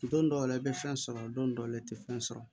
Don dɔw la i bɛ fɛn sɔrɔ don dɔ la i tɛ fɛn sɔrɔ